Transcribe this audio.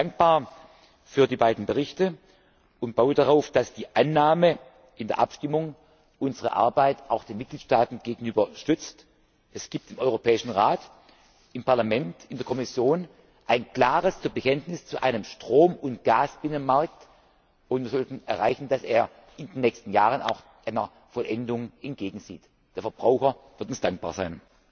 können. Ich bin dankbar für die beiden Berichte und baue darauf, dass die Annahme in der Abstimmung unsere Arbeit auch gegenüber den Mitgliedstaaten stützt. Es gibt im Europäischen Rat, im Parlament, in der Kommission ein klares Bekenntnis zu einem Strom und Gasbinnenmarkt, und wir sollten erreichen, dass er in den nächsten Jahren auch einer Vollendung entgegensieht. Der Verbraucher wird uns dankbar sein.